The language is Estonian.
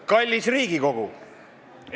Kallis Riigikogu!